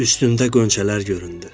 Üstündə qönçələr göründü.